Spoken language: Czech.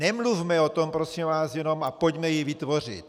Nemluvme o tom, prosím vás, jenom a pojďme ji vytvořit.